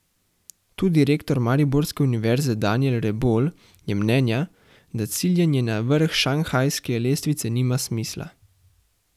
Tudi rektor mariborske univerze Danijel Rebolj je mnenja, da ciljanje na vrh šanghajske lestvice nima smisla.